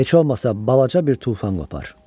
Heç olmasa balaca bir tufan qopar.